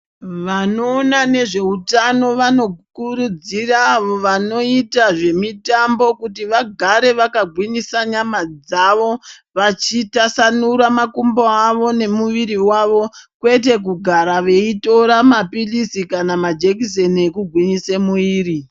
Vanoona nezveutano vanokurudzira vanoita zvemitambo, kuti vagare vakagwinyisa nyama dzavo, vachitasanura makumbo avo, nemuviri wavo, kwete kugara veitora maphilizi kana majekiseni ekugwinyise mwiiri.